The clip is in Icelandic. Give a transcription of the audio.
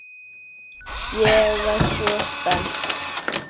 Ég var svo spennt.